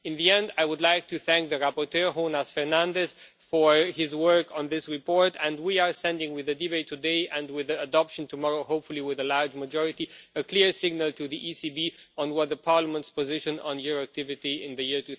Finally, I would like to thank the rapporteur, Jonás Fernández, for his work on this report, and we are sending with the debate today and with its adoption tomorrow, hopefully with a large majority a clear signal to the ECB on the Parliament's position on your activity in the year